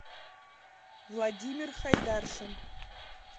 владимир хайдаршин